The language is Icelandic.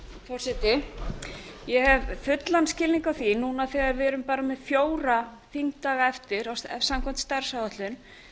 forseti ég hef fullan skilning á því núna þegar við erum bara með fjóra þingdaga eftir samkvæmt starfsáætlun